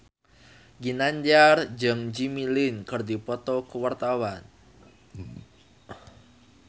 Ginanjar jeung Jimmy Lin keur dipoto ku wartawan